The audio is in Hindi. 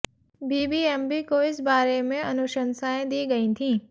बीबीएमबी को भी इस बारे में अनुशंसाएं दी गईं थीं